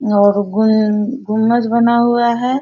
और गुन गुंबज बना हुआ है।